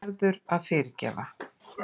Þú verður að fyrirgefa.